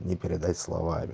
не передать словами